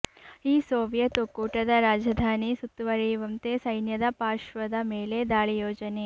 ಈ ಸೋವಿಯತ್ ಒಕ್ಕೂಟದ ರಾಜಧಾನಿ ಸುತ್ತುವರಿಯುವಂತೆ ಸೈನ್ಯದ ಪಾರ್ಶ್ವದ ಮೇಲೆ ದಾಳಿ ಯೋಜನೆ